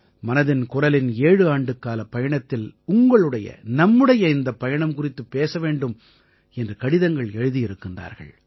மனதின் குரலின் 7 ஆண்டுக்காலப் பயணத்தில் உங்களுடையநம்முடைய இந்தப் பயணம் குறித்துப் பேச வேண்டும் என்று கடிதங்கள் எழுதியிருக்கிறார்கள்